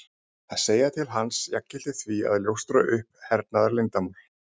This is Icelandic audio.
Að segja til hans jafngilti því að ljóstra upp um hernaðarleyndarmál.